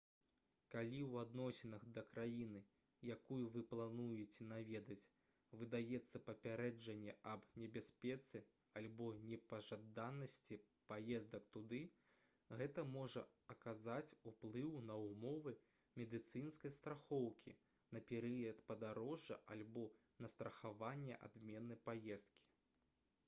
калі ў адносінах да краіны якую вы плануеце наведаць выдаецца папярэджанне аб небяспецы альбо непажаданасці паездак туды гэта можа аказаць уплыў на ўмовы медыцынскай страхоўкі на перыяд падарожжа альбо на страхаванне адмены паездкі